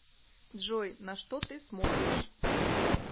джой на что ты смотришь